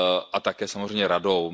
a také samozřejmě Radou.